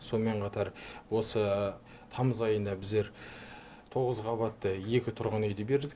сонымен қатар осы тамыз айында біздер тоғыз қабатты екі тұрғын үйді бердік